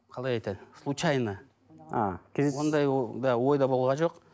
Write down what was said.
қалай айтады случайно а ондай ол да ойда болған жоқ